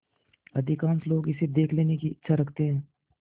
अधिकांश लोग इसे देख लेने की इच्छा रखते हैं